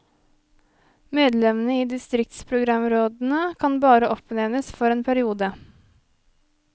Medlemmene i distriktsprogramrådene kan bare oppnevnes for en periode.